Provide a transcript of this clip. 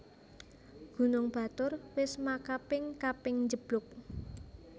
Gunung Batur wis makaping kaping njeblug